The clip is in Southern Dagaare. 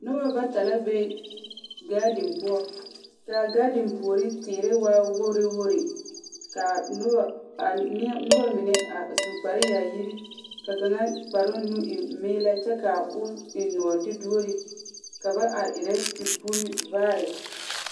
Noba bata la be gaadiŋ poɔ. Ka agaadiŋpuori teere waa wogiri wogiri, ka a noba aa neɛ, noba mine su kpare yaayiri ka kaŋa kparoŋnu e meelɛ kyɛo eŋ nɔɔte duori ka ba are erɛ te puuri vaare.